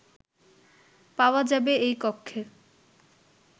পাওয়া যাবে এই কক্ষে